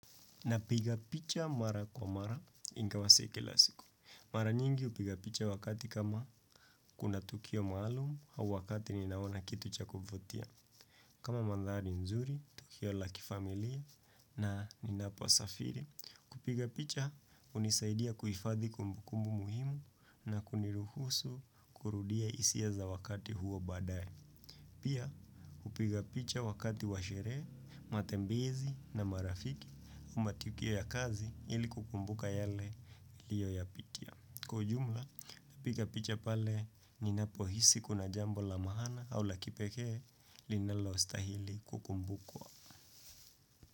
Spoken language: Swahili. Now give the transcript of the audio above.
Napiga picha mara kwa mara ingawa si kila siku. Mara nyingi upiga picha wakati kama kuna tukio maalum au wakati ninaona kitu cha kuvutia. Kama mandhari nzuri, tukio la kifamilia na ninaposafiri. Kupiga picha hunisaidia kuifadhi kumbukumbu muhimu na kuniruhusu kurudia isia za wakati huo badaye. Pia kupiga picha wakati wa sherehe, matembezi na marafiki, ama tukio ya kazi ili kukumbuka yale uliyoyapitia. Kwa ujumla, kupiga picha pale ninapohisi kuna jambo la maana au la kipekee linalostahili kukumbukwa.